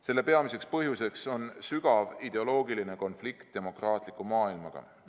Selle peamiseks põhjuseks on sügav ideoloogiline konflikt demokraatliku maailmaga.